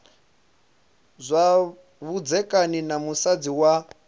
zwa vhudzekani na musadzi wa